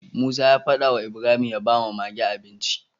Musa ya fada wa Ibrahim ya bawa Mage abinci